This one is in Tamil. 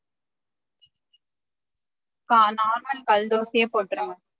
பா normal கல் தோசையே போட்டுருங்க